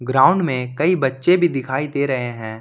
Ground में कई बच्चे भी दिखाई दे रहे हैं।